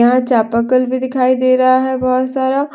यहां चापाकल भी दिखाई दे रहा है बहोत सारा।